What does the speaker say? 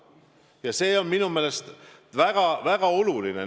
Ja see on minu meelest väga oluline.